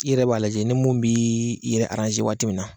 I yɛrɛ b'a lajɛ ni mun bii i yɛrɛ waati min na